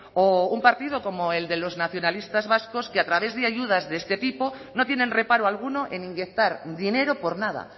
o un partido como el de los nacionalistas vascos que a través de ayudas de este tipo no tienen reparo alguno en inyectar dinero por nada